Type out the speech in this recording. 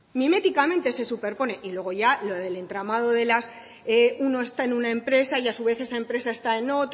miméticamente se superpone y luego ya lo del entramado de las uno está en una empresa y a su vez esa empresa está en otra